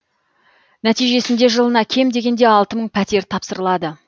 нәтижесінде жылына кем дегенде алты мың пәтер тапсырылады